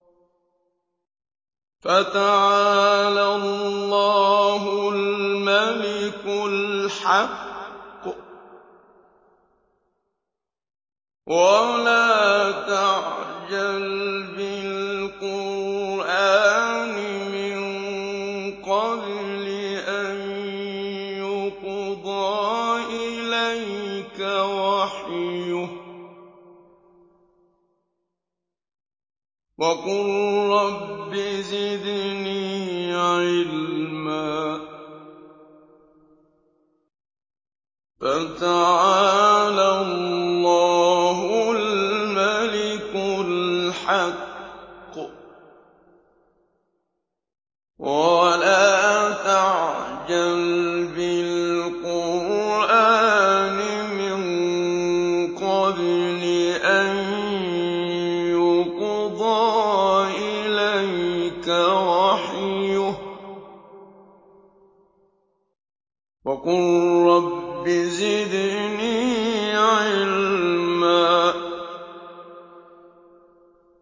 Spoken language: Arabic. فَتَعَالَى اللَّهُ الْمَلِكُ الْحَقُّ ۗ وَلَا تَعْجَلْ بِالْقُرْآنِ مِن قَبْلِ أَن يُقْضَىٰ إِلَيْكَ وَحْيُهُ ۖ وَقُل رَّبِّ زِدْنِي عِلْمًا